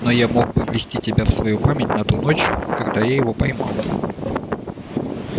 но я мог бы ввести тебя в свою память на ту ночь когда я его поймал